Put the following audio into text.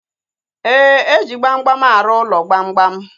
Éè, eji gbamgbam arụ ụlọ gbamgbam